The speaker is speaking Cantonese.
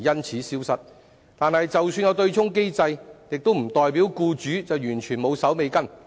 可是，即使有對沖機制，亦不代表僱主就完全無須善後。